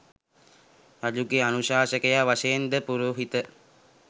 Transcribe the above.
රජුගේ අනුශාසකයා වශයෙන් ද පුරෝහිත